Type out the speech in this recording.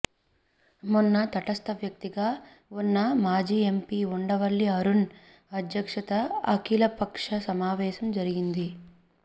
మొన్న తటస్థ వ్యక్తిగా వున్న మాజీ ఎంపీ ఉండవల్లి అరుణ్ అధ్యక్షతన అఖిల పక్ష సమావేశం జరిగింది